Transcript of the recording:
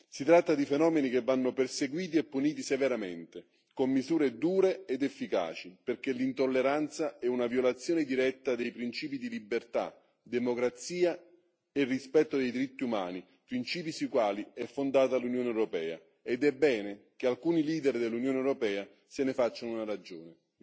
Si tratta di fenomeni che vanno perseguiti e puniti severamente con misure dure ed efficaci perché l'intolleranza è una violazione diretta dei principi di libertà, democrazia e rispetto dei diritti umani, principi sui quali è fondata l'Unione europea ed è bene che alcuni leader dell'Unione europea se ne facciano una ragione.